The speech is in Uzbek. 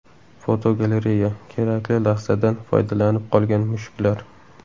Fotogalereya: Kerakli lahzadan foydalanib qolgan mushuklar.